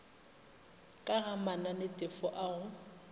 ka ga mananetefo a go